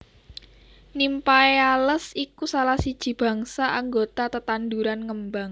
Nymphaeales iku salah siji bangsa anggota tetanduran ngembang